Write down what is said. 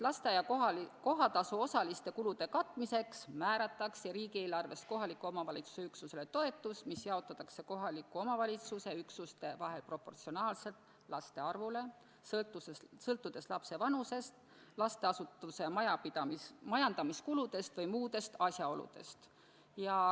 Lasteaia kohatasu osaliste kulude katmiseks määratakse riigieelarvest kohaliku omavalitsuse üksusele toetust, mis jaotatakse kohaliku omavalitsuse üksuste vahel proportsionaalselt laste arvuga ja sõltuvalt laste vanusest, lasteasutuste majandamiskuludest ja muudest asjaoludest.